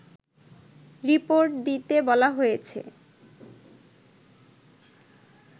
report দিতে বলা হয়েছে